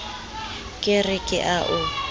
ke re ke a o